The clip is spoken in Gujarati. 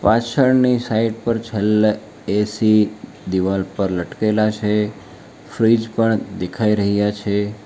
પાછળની સાઈડ પર છેલ્લે એ_સી દિવાલ પર લટકેલા છે ફ્રીજ પણ દેખાઈ રહ્યા છે.